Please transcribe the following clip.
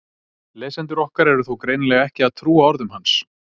Lesendur okkar eru þó greinilega ekki að trúa orðum hans!